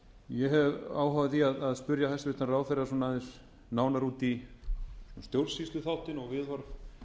ég hef áhuga á því að spyrja hæstvirtan ráðherra svona aðeins nánar út í stjórnsýsluþáttinn og